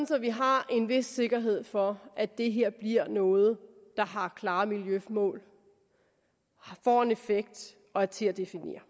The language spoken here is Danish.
så vi har en vis sikkerhed for at det her bliver noget der har klare miljømål får en effekt og er til at definere